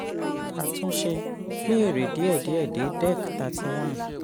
àtúnsẹ: pín èrè díẹ-díẹ dé december thirthy one.